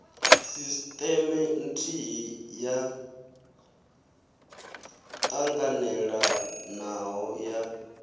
sisteme nthihi yo ṱanganelanaho ya